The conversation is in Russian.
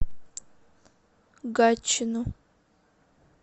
гатчину